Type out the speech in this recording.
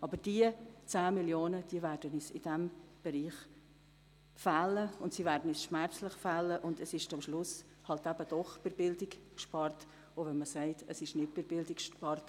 Aber diese 10 Mio. Franken werden uns in diesem Bereich fehlen, und zwar schmerzlich, und es wird halt doch schlussendlich bei der Bildung gespart, selbst wenn man das Gegenteil behauptet.